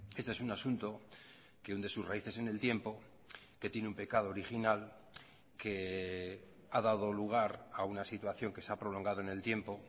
este es un asunto que hunde sus raíces en el tiempo que tiene un pecado original que ha dado lugar a una situación que se ha prolongado en el tiempo